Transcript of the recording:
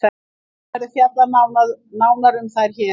Ekki verður fjallað nánar um þær hér.